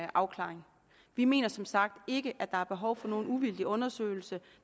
afklaring vi mener som sagt ikke at der er behov for nogen uvildig undersøgelse